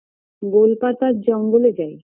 গোল পাতার জঙ্গলে যাই